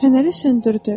Fənəri söndürdü.